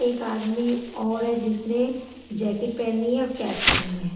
एक आदमी और है जिसने जैकेट पहनी है और कैप है।